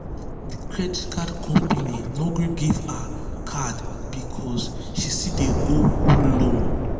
di credit card company no gree give her card because she still dey owe old loan.